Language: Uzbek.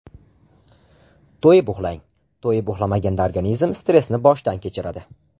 To‘yib uxlang To‘yib uxlamaganda organizm stressni boshdan kechiradi.